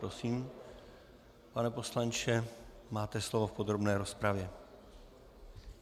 Prosím, pane poslanče, máte slovo v podrobné rozpravě.